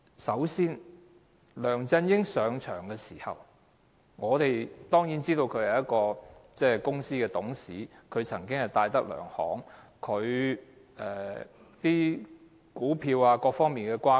首先，梁振英上任時，我們當然知道他曾經是戴德梁行的董事，但我們不清楚他在股票等方面的轇轕。